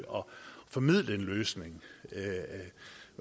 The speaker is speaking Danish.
formidle en løsning